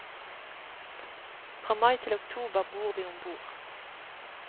Fra mai til oktober bor vi om bord.